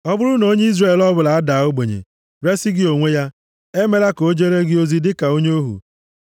“ ‘Ọ bụrụ na onye Izrel ọbụla adaa ogbenye, resi gị onwe ya, emela ka o jere gị ozi dịka onye ohu.